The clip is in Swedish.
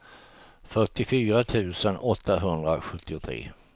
fyrtiofyra tusen åttahundrasjuttiotre